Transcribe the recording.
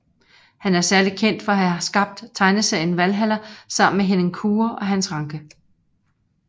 Han er særlig kendt for at have skabt tegneserien Valhalla sammen med Henning Kure og Hans Rancke